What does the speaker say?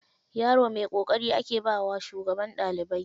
Yaro mai ƙoƙari ake bawa shugaban ɗalibai.